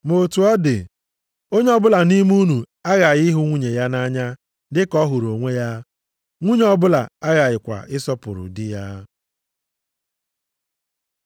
Ma otu ọ dị, onye ọbụla nʼime unu aghaghị ịhụ nwunye ya nʼanya dị ka ọ hụrụ onwe ya, nwunye ọbụla aghakwaghị ịsọpụrụ di ya.